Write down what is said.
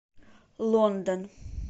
лондон